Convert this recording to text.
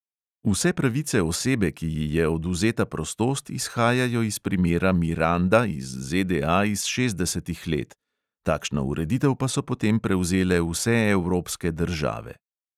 Vse pravice osebe, ki ji je odvzeta prostost, izhajajo iz primera miranda iz ZDA iz šestdesetih let, takšno ureditev pa so potem prevzele vse evropske države.